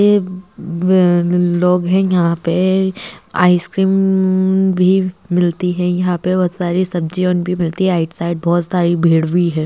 ये ब बहन लोग यहाँ पे आइस क्रीम भी मिलती है यहाँ पे बहोत सारी सब्जियां ऑन भी मिलती है आइट साइड बहुत सारी भीड़ भी है।